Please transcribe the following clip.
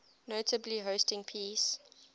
notably hosting peace